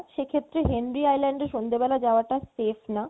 সেক্ষেত্রে Henry island এ সন্ধ্যে বেলা যাওয়াটা safe না